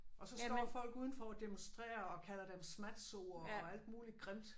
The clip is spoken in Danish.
Og så står folk udenfor og demonstrerer og kalder dem smatsoer og alt muligt grimt